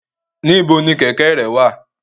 Nibo ni kẹ̀kẹ́ rẹ wa?